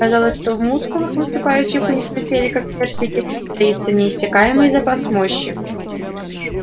казалось что в мускулах выступающих у них на теле как персики таится неиссякаемый запас мощи